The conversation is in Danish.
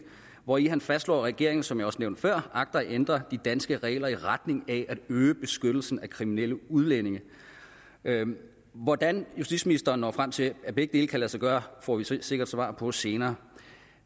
hvori han fastslår at regeringen som jeg også nævnte før agter at ændre de danske regler i retning af at øge beskyttelsen af kriminelle udlændinge hvordan justitsministeren når frem til at begge dele kan lade sig gøre får vi sikkert svar på senere